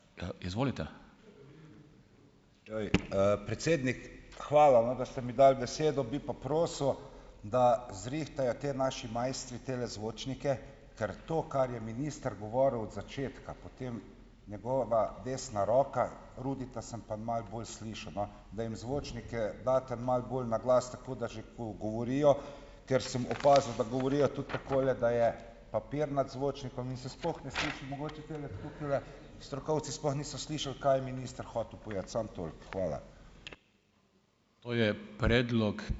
Se pravi, predsednik, hvala, no, da ste mi dali besedo, bi pa prosil, da zrihtajo ti naši mojstri tele zvočnike, ker to, kar je minister govoril od začetka, potem njegova desna roka, Rudija sem pa malo bolj slišal, no. Da jim zvočnike daste malo bolj naglas, tako da že, ko govorijo, ker sem opazil, da govorijo tudi takole, da je papir nad zvočnikom in se sploh ne sliši. Mogoče tile tukajle strokovci sploh niso slišali, kaj je minister hotel povedati. Samo toliko. Hvala.